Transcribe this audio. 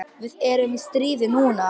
Við erum í stríði núna.